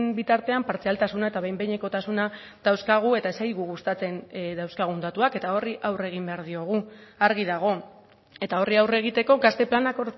bitartean partzialtasuna eta behin behinekotasuna dauzkagu eta ez zaigu gustatzen dauzkagun datuak eta horri aurre egin behar diogu argi dago eta horri aurre egiteko gazte planak